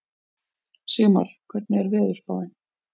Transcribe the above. Sigmar, hvernig er veðurspáin?